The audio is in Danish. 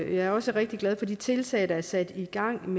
er også rigtig glad for de tiltag der er sat i gang